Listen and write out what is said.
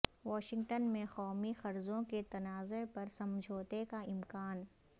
Washington میں قومی قرضوں کے تنازع پر سمجھوتے کا امکان